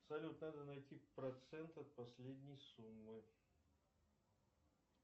салют надо найти процент от последней суммы